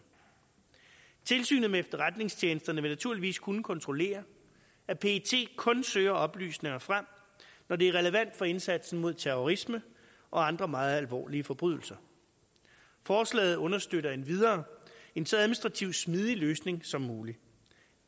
tilsynet med efterretningstjenesterne vil naturligvis kunne kontrollere at pet kun søger oplysninger frem når det er relevant for indsatsen mod terrorisme og andre meget alvorlige forbrydelser forslaget understøtter endvidere en så administrativt smidig løsning som muligt